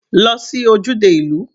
Lọ sí ojúde ìlú.